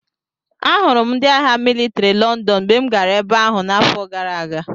Ahụrụ m ndị agha mịlịtrị Lọndọn mgbe m gara ebe ahụ n’afọ gara aga.